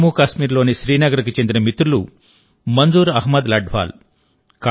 జమ్మూ కాశ్మీర్లోని శ్రీనగర్కు చెందిన మిత్రులు మంజూర్ అహ్మద్ లఢ్వాల్